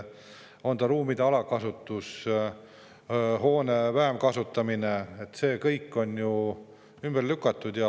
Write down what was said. On ta ruumide alakasutus, hoone vähem kasutamine – see kõik on ju ümber lükatud.